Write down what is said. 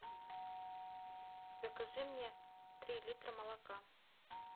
закажи мне три литра молока